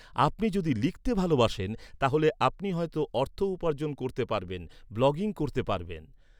আপনি যদি লিখতে ভালোবাসেন, তাহলে আপনি হয়তো অর্থ উপার্জন করতে পারবেন, ব্লগিং করতে পারবেন।